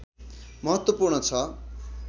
महत्वपूर्ण छ